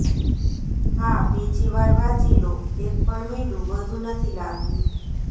હા બીજી વાર વાંચી લો એક પણ મીંડુ વધુ નથી લાગ્યું